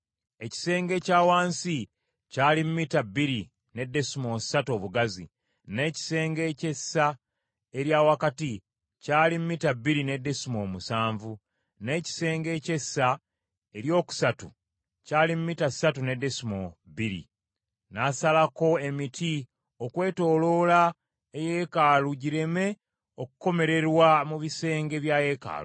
Ekisenge ekya wansi kyali mita bbiri ne desimoolo ssatu obugazi, n’ekisenge eky’essa erya wakati kyali mita bbiri ne desimoolo musanvu, n’ekisenge eky’essa eryokusatu kyali mita ssatu ne desimoolo bbiri. N’asalako emiti okwetooloola eyeekaalu gireme okukomererwa mu bisenge bya yeekaalu.